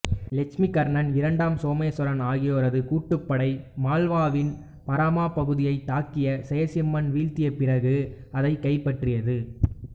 இலட்சுமிகர்ணன் இரண்டாம் சோமேசுவரன் ஆகியோரது கூட்டுப் படை மால்வாவின் பரமாரப் பகுதியைத் தாக்கி செயசிம்மனை வீழ்த்திய பிறகு அதைக் கைப்பற்றியது